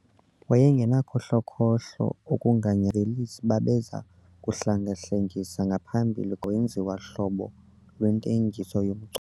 Wayengenakhohlokhohlo okunga, velisi babeza kuhlenga-hlengisa ngaphambili, kwenziwa hlobo lwentengiso yomcu.